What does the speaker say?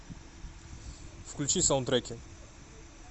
включи саундтреки